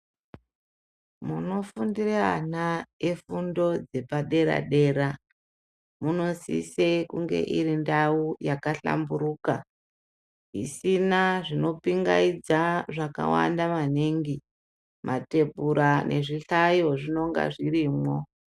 Munofundire ana efundo dzepadera-dera, munosise kunge iri ndau yakahlamburuka. Isina zvinopingaidza zvakawanda maningi matembura nezvihlayo zvinonga zvirimwo.